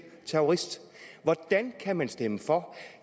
terrorist hvordan kan man stemme for